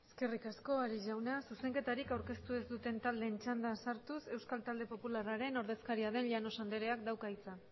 eskerrik asko ares jauna zuzenketarik aurkeztu ez duten taldeen txandan sartuz euskal talde popularraren ordezkaria den llanos andreak dauka hitza